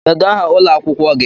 Kedu aha ụlọ akwụkwọ gị?